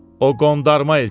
o qondarma elçidir.